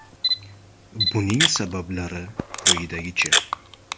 Buning sabablari quyidagicha.